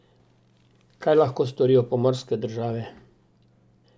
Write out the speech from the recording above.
Kaj lahko storijo pomorske države?